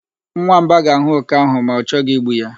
Nwamba ga-ahụ oke ahụ ma o chọghị igbu ya.